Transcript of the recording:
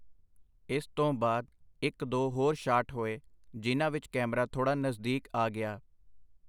ਇਸ ਤੋਂ ਬਾਅਦ ਇਕ-ਦੋ ਹੋਰ ਸ਼ਾਟ ਹੋਏ, ਜਿਨ੍ਹਾਂ ਵਿਚ ਕੈਮਰਾ ਥੋੜਾ ਨਜ਼ਦੀਕ ਆ ਗਿਆ.